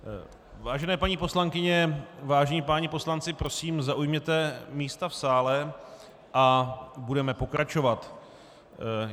Vážené paní poslankyně, vážení páni poslanci, prosím, zaujměte místa v sále a budeme pokračovat.